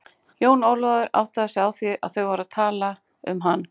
Jón Ólafur áttaði sig á því að þau voru að tala um hann.